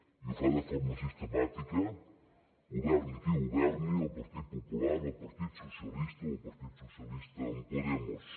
i ho fa de forma sistemàtica governi qui governi el partit popular el partit socialista o el partit socialista amb podemos